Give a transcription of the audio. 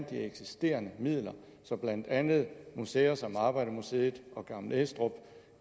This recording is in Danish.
de eksisterende midler så blandt andet museer som arbejdermuseet og gammel estrup